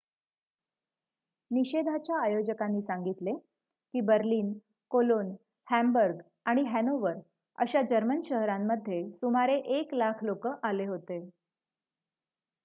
निषेधाच्या आयोजकांनी सांगितले की बर्लिन कोलोन हॅम्बर्ग आणि हॅनोवर अशा जर्मन शहरांमध्ये सुमारे 100,000 लोकं आले होते